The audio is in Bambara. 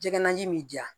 Jɛgɛnaji bi di yan